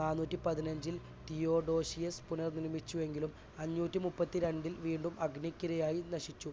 നാനൂറ്റിപതിനഞ്ചിൽ Theodosius പുനർ നിർമ്മിച്ചുവെങ്കിലും അഞ്ഞൂറ്റിമുപ്പത്തിരണ്ടിൽ വീണ്ടും അഗ്നിക്കിരയായി നശിച്ചു.